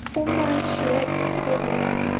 ó máa ń ṣe é bíi pé wón